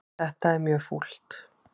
Þetta er mjög fúlt.